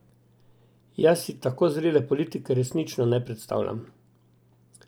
Jaz si tako zrele politike resnično ne predstavljam.